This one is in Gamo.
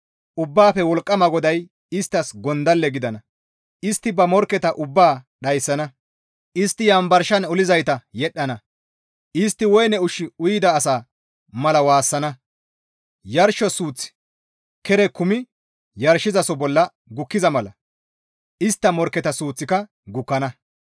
Ubbaafe Wolqqama GODAY isttas gondalle gidana; istti ba morkketa ubbaa dhayssana; istti yanbarshan olizayta yedhdhana; istti woyne ushshu uyida asa mala waassana; yarsho suuththi kere kumi yarshosoho bolla gukkiza mala istta morkketa suuththika gukkana.